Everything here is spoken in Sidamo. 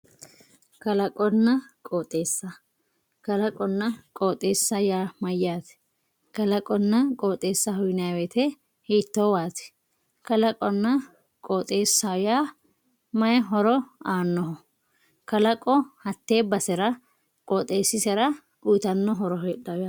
kalaqonna qooxeesa kalaqonna qooxeesa yaa mayaate kalaqonna qoxeesaho yinayiiwote hiitoowaati kalaqonna qoxeesaho yaa =mayi horo aanno kalaqo hatee basera qooxeesisera uuyiitanno horo heexayo yaate.